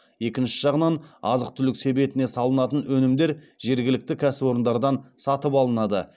екінші жағынан азық түлік себетіне салынатын өнімдер жергілікті кәсіпорындардан сатып алынады